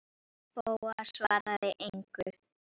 Bóas svaraði engu.